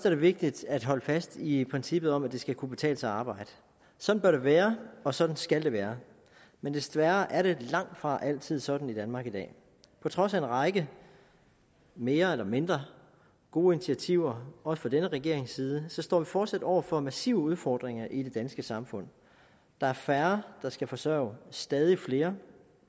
er vigtigt at holde fast i princippet om at det skal kunne betale sig at arbejde sådan bør det være og sådan skal det være men desværre er det langtfra altid sådan i danmark i dag på trods af en række mere eller mindre gode initiativer også fra denne regerings side står vi fortsat over for massive udfordringer i det danske samfund der er færre der skal forsørge stadig flere